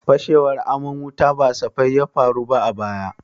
Fashewar aman wuta ba safai ya faru ba a baya.